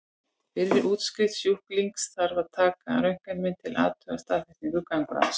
Fyrir útskrift sjúklings þarf að taka röntgenmynd til að athuga staðsetningu gangráðsins.